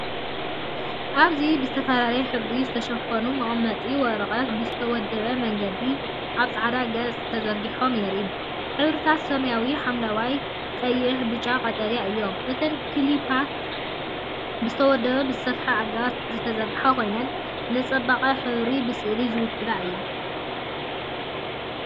እዚ ብዝተፈላለየ ሕብሪ ዝተሸፈኑ መቐመጢ ወረቐት ብዝተወደበ መንገዲ ኣብ ጻዕዳ ገጽ ተዘርጊሖም የርኢ። ሕብርታቱ ሰማያዊ፡ ሐምላይ፡ ቀይሕ፡ ብጫን ቀጠልያን እዮም። እተን ክሊፓት ብዝተወደበን ብዝተሰፍሐን ኣገባብ ዝተዘርግሓ ኮይነን፡ ንጽባቐ ሕብሪ ብስእሊ ዝውክላ እየን።